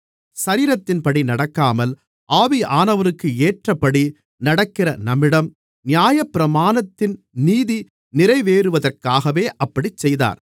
சரீரத்தின்படி நடக்காமல் ஆவியானவருக்கு ஏற்றபடி நடக்கிற நம்மிடம் நியாயப்பிரமாணத்தின் நீதி நிறைவேறுவதற்காகவே அப்படிச் செய்தார்